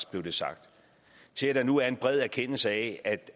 blev der sagt til at der nu er en bred erkendelse af